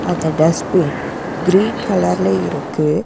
அந்த dustbin green கலர்ல இருக்கு.